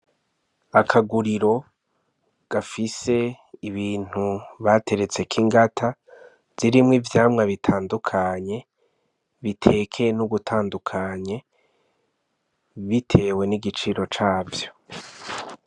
Akaguriro gafise ibintu bateretse k'ingata zirimwo ivyamwa bitandukanye bitekeye n'ugutandukanye bitewe n'igiciro cavyo.